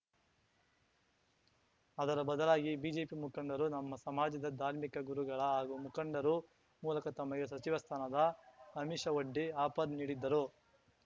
ಅದರ ಬದಲಾಗಿ ಬಿಜೆಪಿ ಮುಖಂಡರು ನಮ್ಮ ಸಮಾಜದ ಧಾರ್ಮಿಕ ಗುರುಗಳ ಹಾಗೂ ಮುಖಂಡರು ಮೂಲಕ ತಮಗೆ ಸಚಿವ ಸ್ಥಾನದ ಅಮಿಷವೊಡ್ಡಿ ಆಪರ್‌ ನೀಡಿದ್ದರು